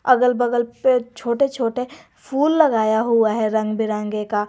अगल बगल पे छोटे छोटे फूल लगाया हुआ हैं रंग बिरंगे का।